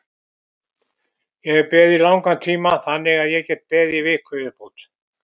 Ég hef beðið í langan tíma þannig að ég get beðið í viku í viðbót.